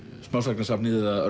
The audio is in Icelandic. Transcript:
smásagnasafnið eða